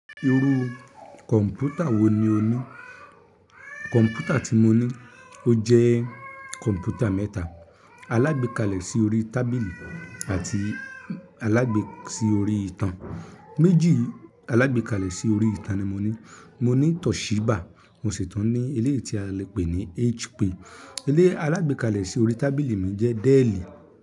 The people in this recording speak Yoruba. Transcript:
Irú kọ̀ǹpútà wo ni o ní? Kọ̀ǹpútà tí mo ní ó jẹ́ kọ̀ǹpútà mẹ́ta alágbẹ́kalẹ̀ sí orí tábìlì àti alágbẹ́ sí orí ìtàn. Méjì alábẹ́kalẹ̀ sí orí ìtàn ni mo ní. Mo ní Toshiba mo sì tún ní eléèti a lè pè ní HP. Eléè alábẹ́kalẹ̀ sí orí tábìlì mi jẹ́ Dell.